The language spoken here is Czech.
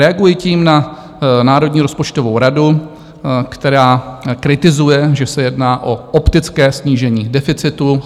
Reaguji tím na Národní rozpočtovou radu, která kritizuje, že se jedná o optické snížení deficitu.